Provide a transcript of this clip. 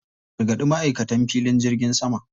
A gargaɗi ma'aikatan filin jirgin sama.